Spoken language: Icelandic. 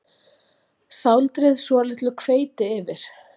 Sáldrið svolitlu hveiti yfir.